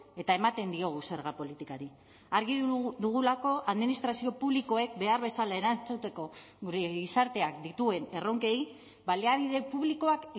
eta ematen diogu zerga politikari argi dugulako administrazio publikoek behar bezala erantzuteko gure gizarteak dituen erronkei baliabide publikoak